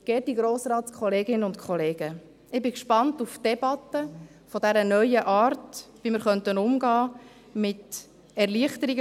Geehrte Grossratskolleginnen und -kollegen, ich bin gespannt auf die Debatte zu dieser neuen Art, wie wir damit umgehen könnten, mit dem Schaffen von Erleichterungen.